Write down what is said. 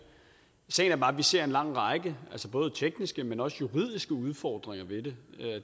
sagen er bare at vi ser en lang række både tekniske men også juridiske udfordringer i det